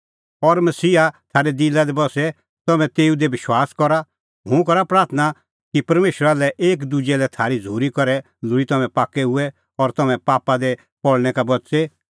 और मसीहा थारै दिला दी बस्से ज़िहअ तम्हैं तेऊ दी विश्वास करा हुंह करा प्राथणां कि परमेशरा लै और एकी दुजै लै थारी झ़ूरी करै लोल़ी तम्हैं पाक्कै हुऐ और तम्हैं पापा दी पल़णै का बच़े